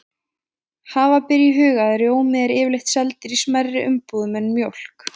Hafa ber í huga að rjómi er yfirleitt seldur í smærri umbúðum en mjólk.